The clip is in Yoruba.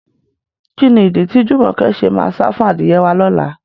Kí ni ìdí tí Jùmọ̀kẹ́ ṣe máa sá fún adìyẹ wá lọ́la?